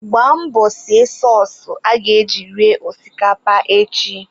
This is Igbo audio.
Gbaa mbọ sie sọọsụ aga eji ri osikapa echi.